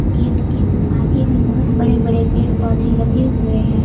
Gate के आगे भी बहोत बड़े बड़े पेड़ पौधे लगे हुए हैं।